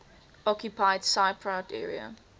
occupied cypriot area